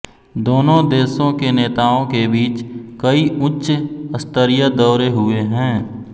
दोनों देशों के नेताओं के बीच कई उच्च स्तरीय दौरे हुए हैं